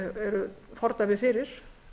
eru fordæmi fyrir